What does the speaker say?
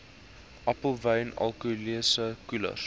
appelwyn alkoholiese koelers